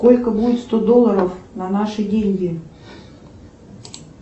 сколько будет сто долларов на наши деньги